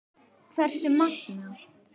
Hversu magnað!